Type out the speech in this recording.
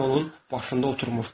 Pişik onun başında oturmuşdu.